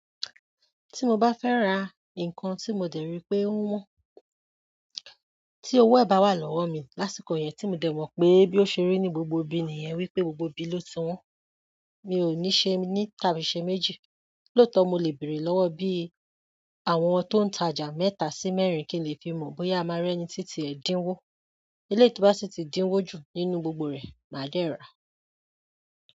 Tí mo bá fẹ́ ra nǹkan tí mo dẹ̀ rí pé ó wọ́n, tí owó ẹ̀ bá wà lọ́wọ́ mi lásìkò yẹn tí mo dẹ̀ mọ̀ pé bí ó ṣe rí ní gbogbo ibi nìyẹn wípé gbogbo ibi ló ti wọ́n, mi ò ní ṣe méní ní tàbí ṣe méjì. Lóòótọ́ mo lè bèèrè lọ́wọ́ bí àwọn tó ń tajà mẹ́ta sí mẹ́rin kí n lè fi mọ̀ bóyá a máa rí ẹni tí ti ẹ́ dín wó. Eléyìí tó bá sì tí díín wó jù nínú gbogbo rẹ̀ màá dẹ̀ ra.